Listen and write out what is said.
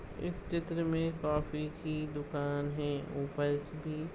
इस चित्र मे कॉफी की दुकान है ऊपरस भी--